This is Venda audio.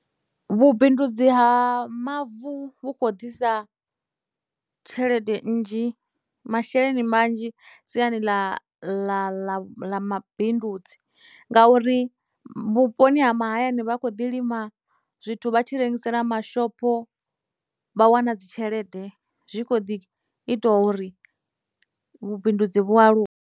Vhubindudzi ha mavu vhu kho ḓisa tshelede nnzhi masheleni manzhi siani ḽa mabindudzi ngauri vhuponi ha mahayani vhakho ḓi lima zwithu vha tshi rengisela mashopho vha wana dzi tshelede zwi kho ḓi ita uri vhubindudzi vhualuwe.